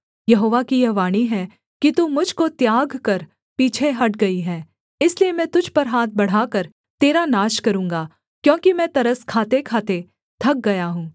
यहोवा की यह वाणी है कि तू मुझ को त्याग कर पीछे हट गई है इसलिए मैं तुझ पर हाथ बढ़ाकर तेरा नाश करूँगा क्योंकि मैं तरस खातेखाते थक गया हूँ